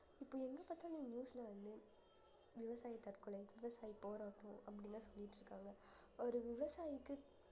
இப்ப எங்கப்பாத்தாலும் news ல வந்து விவசாயி தற்கொலை விவசாயி போராட்டம் அப்படியெல்லாம் சொல்லிட்டு இருக்காங்க ஒரு விவசாயிக்கு